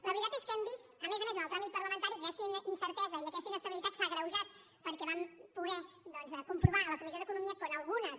la veritat és que hem vist a més a més en el tràmit parlamentari que aquesta incertesa i aquesta inestabilitat s’ha agreujat perquè vam poder doncs comprovar a la comissió d’economia com alguna